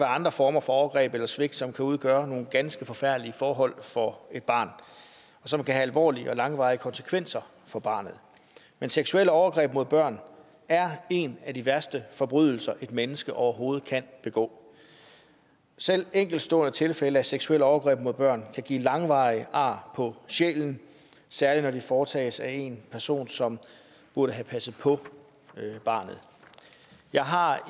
andre former for overgreb eller svigt som kan udgøre nogle ganske forfærdelige forhold for et barn og som kan have alvorlige og langvarige konsekvenser for barnet men seksuelle overgreb mod børn er en af de værste forbrydelser et menneske overhovedet kan begå selv enkeltstående tilfælde af seksuelle overgreb mod børn kan give langvarige ar på sjælen særlig når det foretages af en person som burde have passet på barnet jeg har